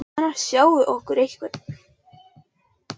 Annars sjái okkur einhver.